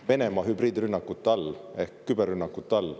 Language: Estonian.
– Venemaa hübriidrünnakute all ehk küberrünnakute all.